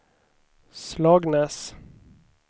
Slagnäs